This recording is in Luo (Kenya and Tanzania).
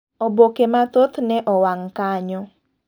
Oboke mathoth ne owang' kanyo.